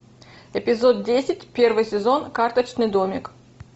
эпизод десять первый сезон карточный домик